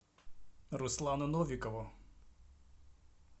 руслану новикову